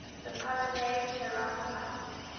la collana chirikawa